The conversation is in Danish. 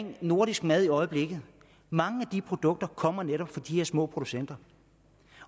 om nordisk mad i øjeblikket mange af produkterne kommer netop fra de her små producenter